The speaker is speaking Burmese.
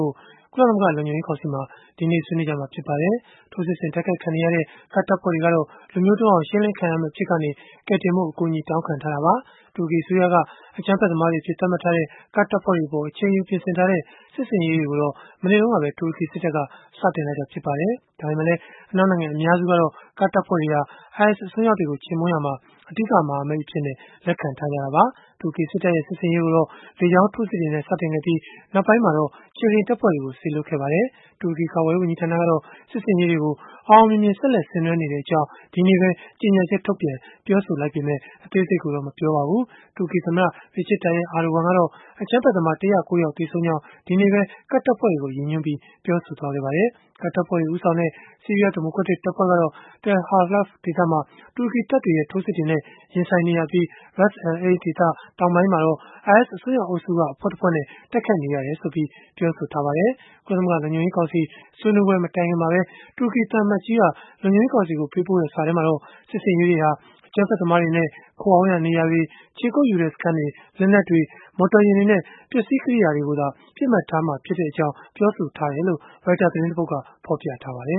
ို့ ကုလသမဂ္ဂ လုံခြုံရေးကောင်စီမှာ ဒီကနေ့ ဆွေးနွေးကြမှာ ဖြစ်ပါတယ်။ ထိုးစစ်ဆင် တိုက်ခိုက်ခံနေရတဲ့ ကာဒ်တပ်ဖွဲ့တွေကတော့ လူမျိုးတုန်းအောင် ရှင်းလင်းခံရမယ့် အဖြစ်ကနေ ကယ်တင်ဖို့ အကူအညီ တောင်းခံထားတာပါ။ တူရကီအစိုးရက အကြမ်းဖက်သမားတွေအဖြစ် သတ်မှတ်ထားတဲ့ ကာဒ်တပ်ဖွဲ့တွေအပေါ် အချိန်ယူ ပြင်ဆင်ထားတဲ့ စစ်ဆင်ရေးတွေကိုတော့ မနေ့တုန်းကပဲ တူရကီစစ်တပ်က စတင်လိုက်တာ ဖြစ်ပါတယ်။ ဒါပေမဲ့လည်း အနောက်နိုင်ငံ အများစုကတော့ ကာဒ်တပ်ဖွဲ့တွေဟာ IS အစွန်းရောက်တွေကို ချေမှုန်းရာမှာ အဓိကမဟာမိတ်အဖြစ် လက်ခံထားကြတာပါ။ တူရကီစစ်တပ်ရဲ့ စစ်ဆင်ရေးကိုတော့ လေကြောင်းထိုးစစ်တွေနဲ့ စတင်ခဲ့ပြီး နောက်ပိုင်းမှာတော့ ခြေလျင်တပ်ဖွဲ့တွေ စေလွှတ်ခဲ့ပါတယ်။ တူရကီ ကာကွယ်ရေးဝန်ကြီးဌာနကတော့ စစ်ဆင်ရေးတွေကို အောင်အောင်မြင်မြင် ဆက်လက် ဆင်နွှဲနေကြောင်း ဒီကနေ့ပဲ ကြေညာချက်ထုတ်ပြန် ပြောဆိုခဲ့ပေမဲ့ အသေးစိတ်ကိုတော့ မပြောပါဘူး။ တူရကီသမ္မတ Recep Tayyip Erdogan ကတော့ အကြမ်းဖက်သမား ၁၀၉ ယောက်ကို သုတ်သင်ခဲ့ကြောင်း ကာဒ်တပ်ဖွဲ့ဝင်တွေကို ရည်ညွှန်းပြီး ဒီကနေ့ပဲ ပြောဆိုခဲ့ပါတယ်။ ကာဒ်တပ်ဖွဲ့တွေ ဦးဆောင်တဲ့ ဆီးရီးယား ဒီမိုကရက်တစ် တပ်ဖွဲ့ကတော့ Tal Halaf ဒေသမှာ တူရကီ တပ်တွေရဲ့ ထိုးစစ်တွေနဲ့ ရင်ဆိုင်နေရပြီး Ras al-Ain ဒေသ တောင်ပိုင်းမှာတော့ IS အစွန်းရောက်အုပ်စုက အဖွဲ့တဖွဲ့နဲ့ တိုက်ခိုက်နေရကြောင်း ပြောဆိုခဲ့ပါတယ်။ ကုလသမဂ္ဂ လုံခြုံရေးကောင်စီ ဆွေးနွေးပွဲ မတိုင်ခင်မှာပဲ တူရကီသံအမတ်ကြီး Feridun Sinirlioglu က လုံခြုံရေးကောင်စီကို ပေးပို့တဲ့ စာထဲမှာ စစ်ဆင်ရေးတွေဟာ အကြမ်းဖက်သမားတွေနဲ့ ခိုအောင်းရာနေရာတွေ၊ ခြေကုပ်ယူထားတဲ့ စခန်းတွေ၊ လက်နက်တွေ၊ မော်တော်ယာဉ်တွေနဲ့ ပစ္စည်းကရိယာတွေကိုသာ ပစ်မှတ်ထားမှာဖြစ်ကြောင်း ပြောဆိုထားတယ်လို့လည်း Reuters သတင်းက ဖော်ပြထားပါတယ